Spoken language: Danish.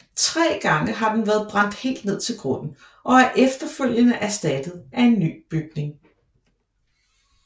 Tre gange har den været brændt helt ned til grunden og er efterfølgende erstattet af en ny bygning